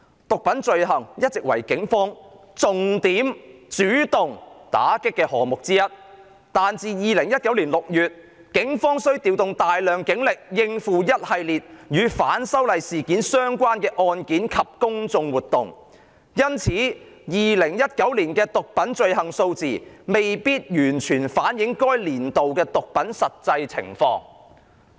"毒品罪行一直為警方重點主動打擊的項目之一，但自2019年6月，警方需調動大量警力應付一系列與'反修例'事件相關的案件及公眾活動，因此2019年的毒品罪行數字未必完全反映該年度的毒品實際情況。